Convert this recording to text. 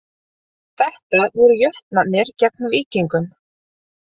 Þetta voru Jötnarnir gegn Víkingum